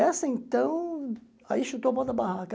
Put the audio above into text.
Essa, então, aí chutou o pau da barraca.